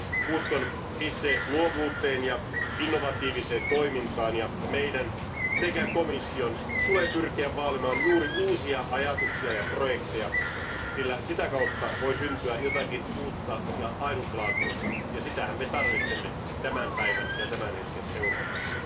Uskon itse luovuuteen ja innovatiiviseen toimintaan ja meidän sekä komission tulee pyrkiä vaalimaan juuri uusia ajatuksia ja projekteja, sillä sitä kautta voi syntyä jotakin uutta ja ainutlaatuista, ja sitähän me tarvitsemme tämän päivän ja tämän hetken Euroopassa.